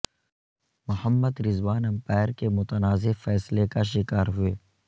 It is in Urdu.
محمد رضوان امپائر کے متنازع فیصلے کا شکار ہوئے